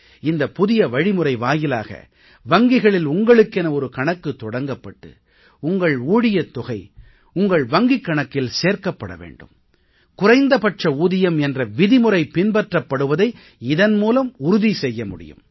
இந்த புதிய வழிமுறை வாயிலாக வங்கிகளில் உங்களுக்கென ஒரு கணக்குத் தொடங்கப்பட்டு உங்கள் ஊழியத் தொகை உங்கள் வங்கிக் கணக்கில் சேர்க்கப்பட வேண்டும் குறைந்தபட்ச ஊதியம் என்ற விதிமுறை பின்பற்றப்படுவதை இதன் மூலம் உறுதி செய்ய முடியும்